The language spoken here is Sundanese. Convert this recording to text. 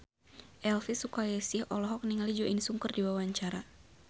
Elvy Sukaesih olohok ningali Jo In Sung keur diwawancara